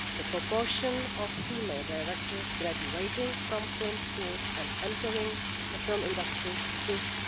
The proportion of female directors graduating from film schools and entering the film industry is